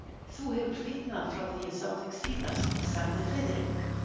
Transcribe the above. Þú hefur fitnað frá því ég sá þig síðast sagði Friðrik.